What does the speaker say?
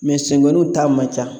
senkoonunw ta man ca